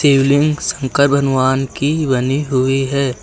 शिवलिंग शंकर भगवान की बनी हुई है।